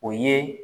O ye